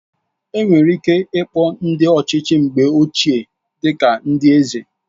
Enwere ike ịkpọ ndị ọchịchị mgbe ochie dị ka ndị eze